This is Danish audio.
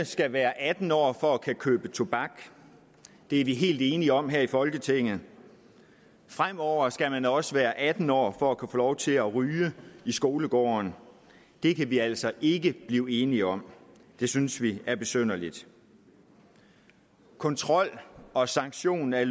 skal være atten år for at kunne købe tobak det er vi helt enige om her i folketinget fremover skal man også være atten år for at kunne få lov til at ryge i skolegården det kan vi altså ikke blive enige om det synes vi er besynderligt kontrollen og sanktionerne